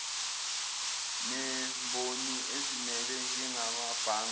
nemboni ezimele njengamabhange